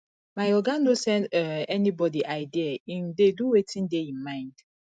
my oga no send um anybodi idea im dey do wetin dey im mind